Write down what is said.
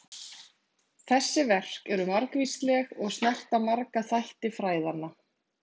Þessi verk eru margvísleg og snerta marga þætti fræðanna.